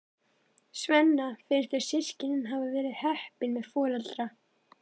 Svenna finnst þau systkinin hafa verið heppin með foreldra.